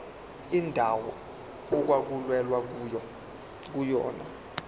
indawo okwakulwelwa kuyona